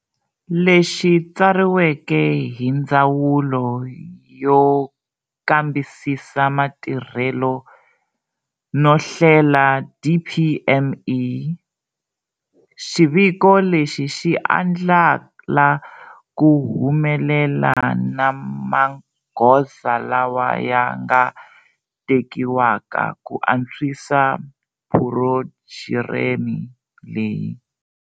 Lexi tsariweke hi Ndzawulo yo Kambisisa Matirhelo no Hlela, DPME. Xiviko lexi xi andlala ku humelela na magoza lawa ya nga tekiwaka ku antswisa phurogireme leyi.